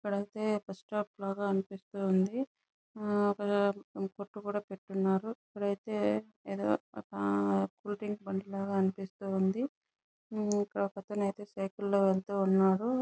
ఇక్కడైతే bus stop లాగా అనిపిస్తుంది ఆహ్ కొట్టు కూడా పెట్టిఉన్నారు ఇక్కడైతే ఏదో ఆహ్ షూటింగ్ పనిలా అనిపిస్తూ ఉంది. హ్మ్మ్ ఒక అతను అయితే సైకిల్ లో వెళ్తు ఉన్నాడు.